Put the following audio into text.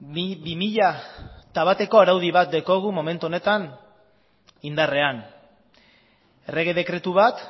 bi mila bateko araudi bat daukagu momentu honetan indarrean errege dekretu bat